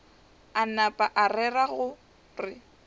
a napa a rera gore